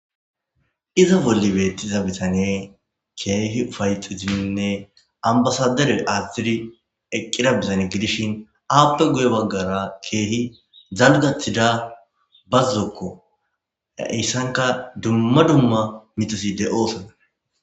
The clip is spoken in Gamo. iza bolli beettiza bitanee keehi ufayxiziminne ambasaderoy atztidi eqqira bizane gidishin aappe guye baggara keehi zaludathida bazzokko aeyssanka dumma dumma mixisi de oosona